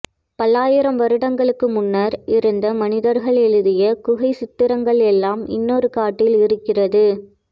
பல்லாயிரம் வருடங்களுக்கு முன்னர் இருந்த மனிதர்கள் எழுதிய குகைச்சித்திரங்கள் எல்லாம் இன்னொரு காட்டில் இருக்கிறது